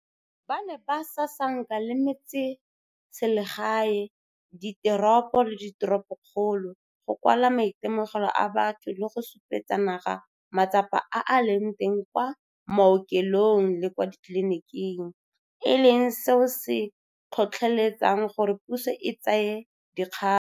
Ba ne ba sasanka le metseselegae, diteropo le diteropokgolo, go kwala maitemogelo a batho le go supetsa naga matsapa a a leng teng kwa maokelong le kwa ditleliniking, e leng seo se tlhotlheletsang gore puso e tsaye dikgato.